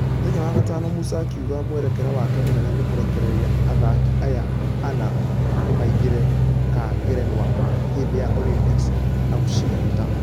Mũthenya wa gatano musa akĩuga mwerekera wake mũnene nĩ kũrekerera athaki aya ana nĩmaingĩra....ka ngerenwa hĩndĩ ya olympics na kũcihota.